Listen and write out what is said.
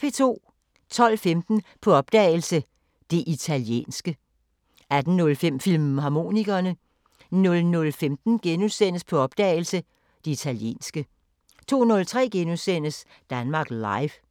12:15: På opdagelse – Det italienske 18:05: Filmharmonikerne 00:15: På opdagelse – Det italienske * 02:03: Danmark Live *